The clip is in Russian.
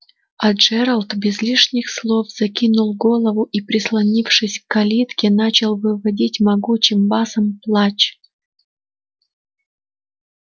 а джералд без лишних слов закинул голову и прислонившись к калитке начал выводить могучим басом плач